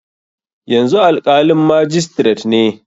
Yanzu alƙalin majistiret ne.